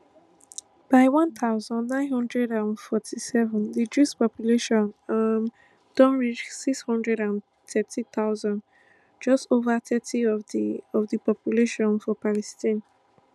by one thousand, nine hundred and forty-seven di jewish population um don reach six hundred and thirty thousand just over thirty of di of di population for palestine